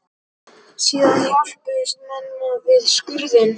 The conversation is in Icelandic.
Síðan hjálpuðust menn að við skurðinn.